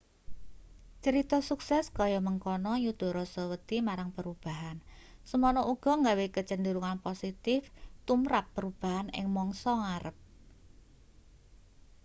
crita sukses kaya mengkono nyuda rasa wedi marang perubahan semono uga gawe kecenderungan positif tumrap perubahan ing mangsa ngarep